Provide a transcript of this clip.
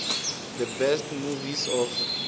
the best movies of